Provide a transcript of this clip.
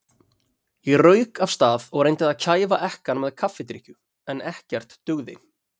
Ég rauk af stað og reyndi að kæfa ekkann með kaffidrykkju, en ekkert dugði.